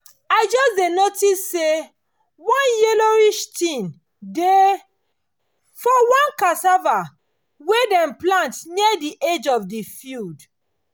i just dey notice say one yellowish thing dey for one cassava wey them plant near the edge of the field